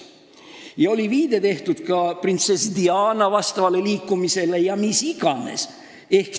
Ja oli ka viide printsess Diana vastavale liikumisele vms.